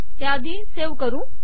त्याआधी हे सेव्ह करूया